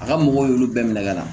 A ka mɔgɔw y'olu bɛɛ minɛ ka na